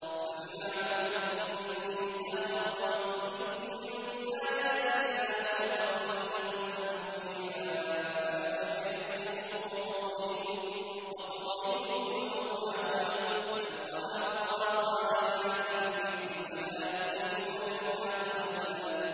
فَبِمَا نَقْضِهِم مِّيثَاقَهُمْ وَكُفْرِهِم بِآيَاتِ اللَّهِ وَقَتْلِهِمُ الْأَنبِيَاءَ بِغَيْرِ حَقٍّ وَقَوْلِهِمْ قُلُوبُنَا غُلْفٌ ۚ بَلْ طَبَعَ اللَّهُ عَلَيْهَا بِكُفْرِهِمْ فَلَا يُؤْمِنُونَ إِلَّا قَلِيلًا